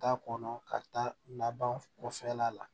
Taa kɔnɔ ka taa laban o fɛn la